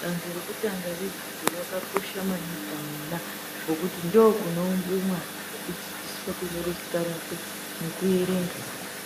Danto rekutanga redzidzo rakakosha maningi pamwana ngokuti ndokunoumbwe mwana, nekudzidziswa kunyore zita rakwe nekuerenga.